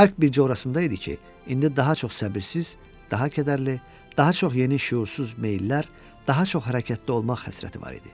Fərq bircə orasındaydı ki, indi daha çox səbirsiz, daha kədərli, daha çox yeni şüursuz meyllər, daha çox hərəkətdə olmaq həsrəti var idi.